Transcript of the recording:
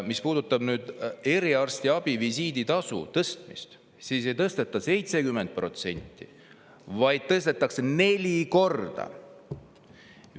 Mis puudutab eriarstiabi visiiditasu tõstmist, siis seda ei tõsteta 70%, vaid tõstetakse neli korda!